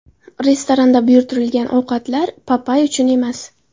Restoranda buyurtirilgan ovqatlar Papay uchun emas.